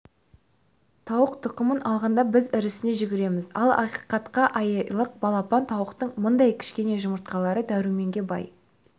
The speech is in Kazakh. тауық тұқымын алғанда біз ірісіне жүгіреміз ал ақиқатында айлық балапан тауықтың мынадай кішкене жұмыртқалары дәруменге бай